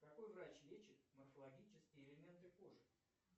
какой врач лечит морфологические элементы кожи